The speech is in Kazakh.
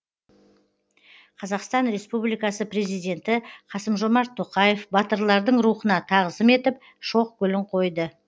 қазақстан республикасы президенті қасым жомарт тоқаев батырлардың рухына тағзым етіп шоқ гүлін қойды